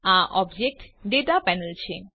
આ ઓબ્જેક્ટ દાતા પેનલ છે